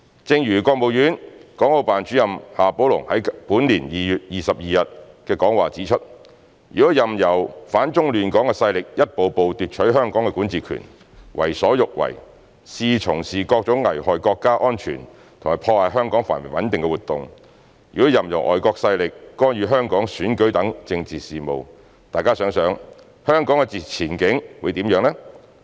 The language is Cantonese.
正如國務院港澳辦主任夏寶龍在本年2月22日的講話指出："如果任由反中亂港勢力一步步奪取香港的管治權，為所欲為，肆意從事各種危害國家安全和破壞香港繁榮穩定的活動，如果任由外國勢力干預香港選舉等政治事務，大家想想，香港的前景會怎樣？